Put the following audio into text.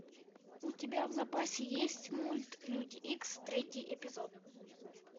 у тебя в запасе есть мульт люди икс третий эпизод